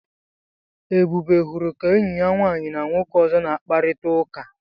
Ebube hụrụ ka enyi ya nwaanyị na nwoke ọzọ na-akparịta ụka.